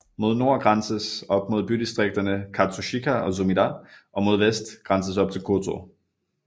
Mod nord grænses op mod bydistrikterne Katsushika og Sumida og mod vest grænses op til Kōtō